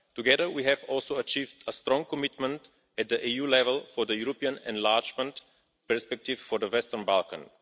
Together we have also achieved a strong commitment at EU level for the European enlargement perspective for the Western Balkans.